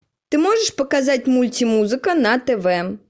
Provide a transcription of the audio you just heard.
ты можешь показать мульти музыка на тв